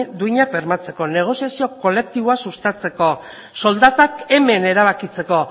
duinak bermatzeko negoziazio kolektiboa sustatzeko soldatak hemen erabakitzeko